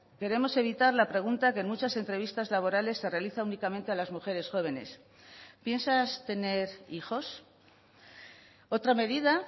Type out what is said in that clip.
queremos evitar la pregunta que en muchas entrevistas laborales se realiza únicamente a las mujeres jóvenes piensas tener hijos otra medida